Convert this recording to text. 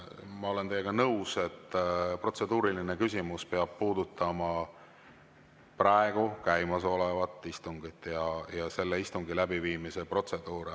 Ma olen teiega nõus, et protseduuriline küsimus peab puudutama käimasolevat istungit ja selle istungi läbiviimise protseduure.